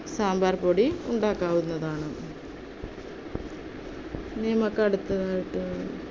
സാമ്പാർ പൊടി ഉണ്ടാക്കാവുന്നതാണ്. ഇനി നമുക്ക് അടുത്തതായിട്ട്